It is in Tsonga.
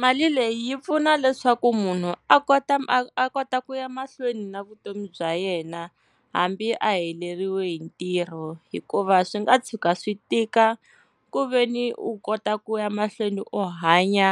Mali leyi yi pfuna leswaku munhu a kota a kota ku ya mahlweni na vutomi bya yena hambi a heleriwe hi ntirho, hikuva swi nga tshuka swi tika ku veni u kota ku ya mahlweni u hanya